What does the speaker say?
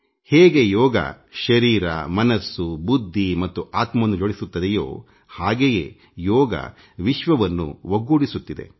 ಹೇಗೆ ಯೋಗಶರೀರಮನಸ್ಸುಬುದ್ಧಿ ಮತ್ತು ಆತ್ಮವನ್ನು ಜೋಡಿಸುತ್ತದೆಯೋ ಹಾಗೆಯೇ ಯೋಗ ವಿಶ್ವವನ್ನು ಒಗ್ಗೂಡಿಸುತ್ತಿದೆ